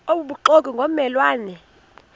obubuxoki ngomme lwane